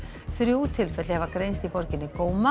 þrjú tilfelli hafa greinst í borginni